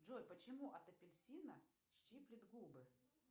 джой почему от апельсина щиплет губы